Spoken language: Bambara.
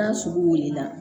N'a sugu wulila